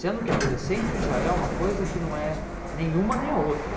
Sendo que adolescente já é uma coisa que não é nenhuma nem a outra.